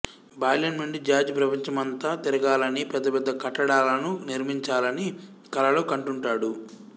బాల్యం నుండి జార్జ్ ప్రపంచమంతా తిరగాలని పెద్ద పెద్ద కట్టడాలను నిర్మించాలని కలలు కంటుంటాడు